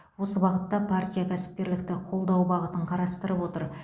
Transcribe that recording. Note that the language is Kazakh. осы бағытта партия кәсіпкерлікті қолдау бағытын қарастырып отыр